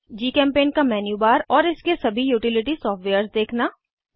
जीचेम्पेंट का मेन्यूबार और इसके सभी यूटिलिटी सॉफ्टवेयर्स देखना